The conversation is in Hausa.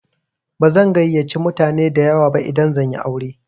Bazan gayyace mutane dayawa ba idan zan yi aure.